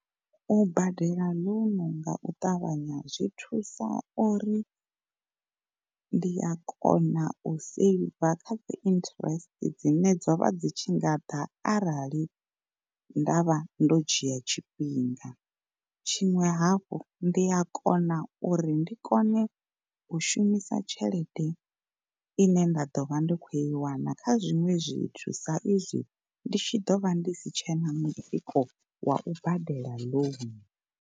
U badela ḽouno nga u ṱavhanya zwi thusa uri ndi a kona u saver kha dzi interest dzine dzo vha dzi tshi nga ḓa arali nda vha ndo dzhia tshifhinga. Tshiṅwe hafhu ndi a kona uri ndi kone u shumisa tshelede ine nda ḓo vha ndi khou i wana kha zwiṅwe zwithu sa izwi ndi tshi ḓo vha ndi si tshena mutsiko wa badela ḽounu.